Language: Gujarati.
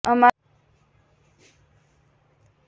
અમારા પાનખર હસ્તકલા પાયો એક રાઉન્ડ લાકડાના લાકડાના છે